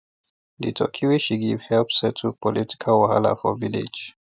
the turkey wey she give help settle political wahala for village